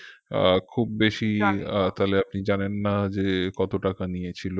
আহ খুব বেশি আহ তাইলে আপনি জানেন না যে কত টাকা নিয়েছিল